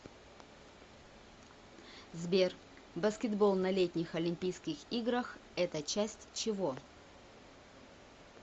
сбер баскетбол на летних олимпийских играх это часть чего